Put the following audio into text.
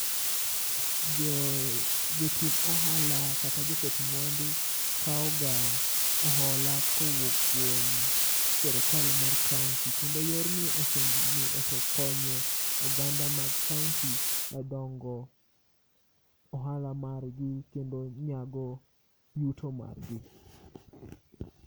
Jo, jotim ohala kata joket mwandu kawga hola kowuok kuom sirkal mar kaunti kendo yorni osekonyo oganda ma kaunti e dongo ohala margi kendo nyago yuto margi